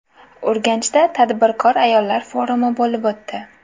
Urganchda tadbirkor ayollar forumi bo‘lib o‘tdi.